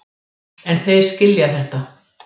En þeir skilja þetta.